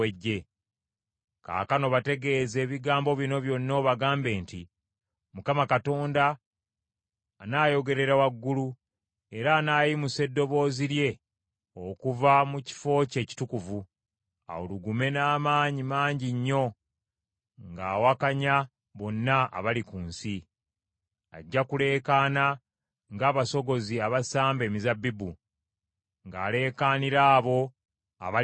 “Kaakano bategeeze ebigambo bino byonna obagambe nti, “‘ Mukama Katonda anaayogerera waggulu, era anaayimusa eddoboozi lye okuva mu kifo kye ekitukuvu awulugume n’amaanyi mangi nnyo ng’awakanya bonna abali mu nsi. Ajja kuleekaana ng’abasogozi abasamba emizabbibu, ng’aleekaanira abo abali ku nsi.